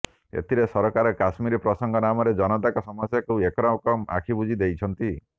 ଏଥିରେ ସରକାର କାଶ୍ମୀର ପ୍ରସଙ୍ଗ ନାମରେ ଜନତାଙ୍କ ସମସ୍ୟାକୁ ଏକରକମ ଆଖିବୁଜିଦେଇଛନ୍ତି